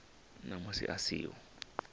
na musi a si ho